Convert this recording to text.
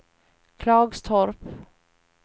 Klagstorp